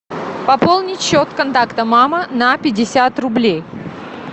пополнить счет контакта мама на пятьдесят рублей